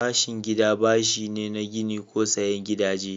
Bashin gida bashi ne na gini ko sayen gidaje.